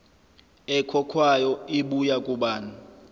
ekhokhwayo ibuya kubani